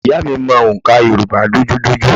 Ìyá à mi mọ òǹkà Yorùbá dojúdojú